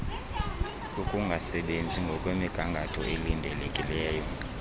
ukungasebenzi ngokwemnigangatho elindelekileyo